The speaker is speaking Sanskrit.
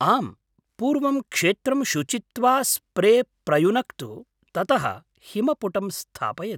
आम्, पूर्वं क्षेत्रं शुचित्वा स्प्रे प्रयुनक्तु, ततः हिमपुटं स्थापयतु।